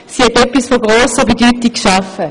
Sie hat etwas von grosser Bedeutung geschaffen.